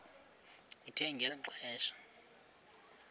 kuthe ngeli xesha